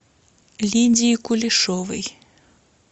лидии кулешовой